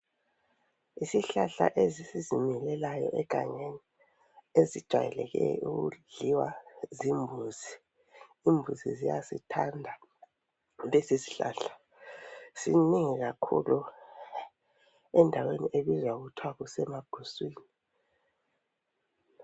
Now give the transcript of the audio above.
Isihlahla esizimilelayo egangeni esijwayele ukudliwa zimbuzi, imbuzi ziyasithanda lesi sihlahla sinengi kakhulu endaweni ebizwa kuthwa kusemaguswini.